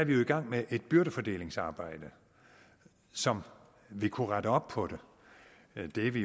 vi jo i gang med et byrdefordelingsarbejde som vil kunne rette op på det det er vi